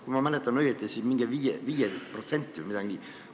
Kui ma õigesti mäletan, siis mingi 5% või midagi sellist.